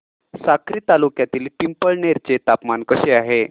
साक्री तालुक्यातील पिंपळनेर चे तापमान कसे आहे